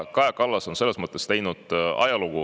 Kaja Kallas on selles mõttes teinud ajalugu.